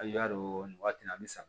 A y'a dɔn nin waati in na an bi sa